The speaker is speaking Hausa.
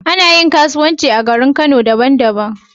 Anayin kasuwanci a garin kano daban daban